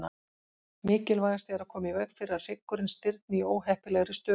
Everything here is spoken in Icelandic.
Mikilvægast er að koma í veg fyrir að hryggurinn stirðni í óheppilegri stöðu.